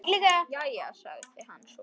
Jæja, sagði hann svo.